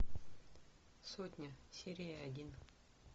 сотня серия один